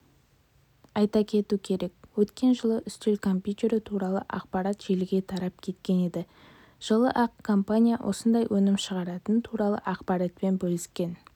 айта кету керек өткен жылы үстел компьютері туралы ақпарат желіге тарап кеткен еді жылы-ақ компания осындай өнім шығаратыны туралы ақпаратпен бөліскен